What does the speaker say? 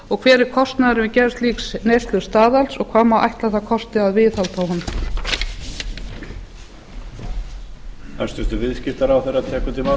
og hver er kostnaðurinn við gerð slíks neyslustaðals og hvað má ætla að það kosti að viðhalda honum